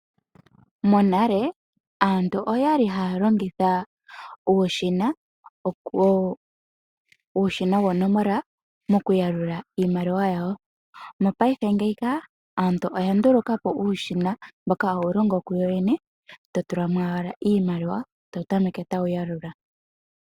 Monale aantu okwali haya longitha uushina woonomola woku yalula iimaliwa yawo, mopaife ngeyi ka aantu oya nduluka po uushina mboka hawu longo kuwo wene, to tu la mo owala iimaliwa etawu tameke tawu yalula.